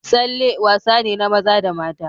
Tsalle wasane na maza da mata.